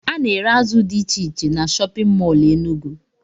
Ana ere azụ dị iche iche n'shóppin mol Enugu.